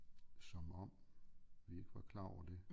Som om vi ikke var klar over det